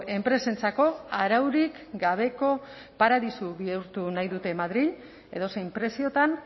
enpresentzako araurik gabeko paradisu bihurtu nahi dute madril edozein preziotan